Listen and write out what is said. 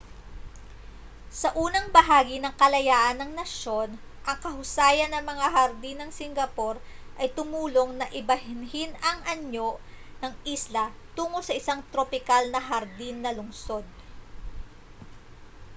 sa unang bahagi ng kalayaan ng nasyon ang kahusayan ng mga hardin ng singapore ay tumulong na ibahin ang anyo ng isla tungo sa isang tropikal na hardin na lungsod